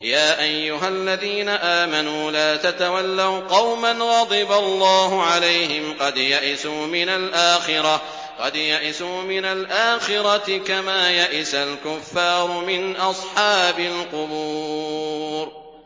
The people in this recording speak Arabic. يَا أَيُّهَا الَّذِينَ آمَنُوا لَا تَتَوَلَّوْا قَوْمًا غَضِبَ اللَّهُ عَلَيْهِمْ قَدْ يَئِسُوا مِنَ الْآخِرَةِ كَمَا يَئِسَ الْكُفَّارُ مِنْ أَصْحَابِ الْقُبُورِ